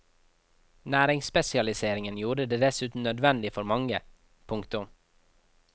Næringsspesialiseringen gjorde det dessuten nødvendig for mange. punktum